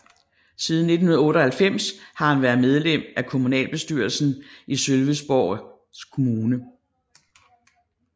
Siden 1998 har han været medlem af kommunalbestyrelsen i Sölvesborgs kommun